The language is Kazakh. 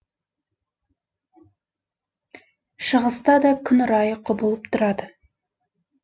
шығыста да күн райы құбылып тұрады